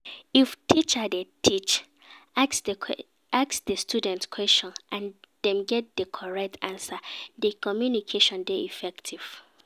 If teacher de teach, ask di students questions and dem get di correct answer di communication de effective